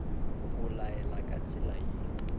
o laela ka tsela ye